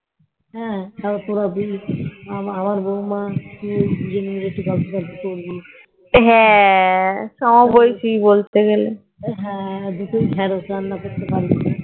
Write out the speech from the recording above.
হম পুরো দিন আমার বৌমা তুই দুজন মিলে একটু গল্প টল্প করবি হ্যাঁ দুটোই ঢ্যাঁড়স রান্না করতে পারিস না।